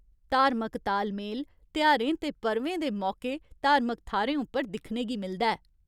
धार्मिक ताल मेल तेहारें ते पर्वें दे मौकै धार्मिक थाह्‌रें उप्पर दिक्खने गी मिलदा ऐ।